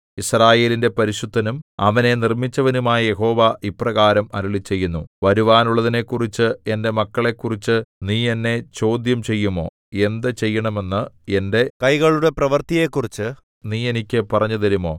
യിസ്രായേലിന്റെ പരിശുദ്ധനും അവനെ നിർമ്മിച്ചവനുമായ യഹോവ ഇപ്രകാരം അരുളിച്ചെയ്യുന്നു വരുവാനുള്ളതിനെക്കുറിച്ച് എന്റെ മക്കളെക്കുറിച്ച് നീ എന്നെ ചോദ്യം ചെയ്യുമോ എന്ത് ചെയ്യണമെന്ന് എന്റെ കൈകളുടെ പ്രവൃത്തിയെക്കുറിച്ച് നീ എനിക്ക് പറഞ്ഞുതരുമോ